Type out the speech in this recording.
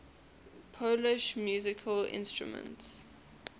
polish musical instruments